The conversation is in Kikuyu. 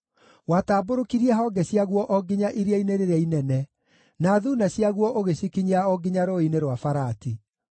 Watambũrũkirie honge ciaguo o nginya Iria-inĩ rĩrĩa Inene, na thuuna ciaguo ũgĩcikinyia o nginya Rũũĩ-inĩ rwa Farati.